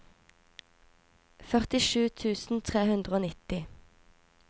førtisju tusen tre hundre og nitti